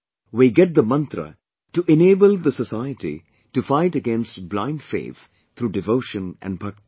We get the mantra to enable the society to fight against blindfaith through devotion and bhakti